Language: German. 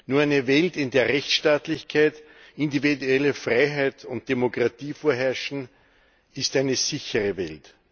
Nur eine Welt, in der Rechtsstaatlichkeit, individuelle Freiheit und Demokratie vorherrschen, ist eine sichere Welt.